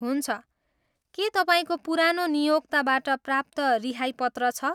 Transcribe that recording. हुन्छ, के तपाईँको पुरानो नियोक्ताबाट प्राप्त रिहाई पत्र छ?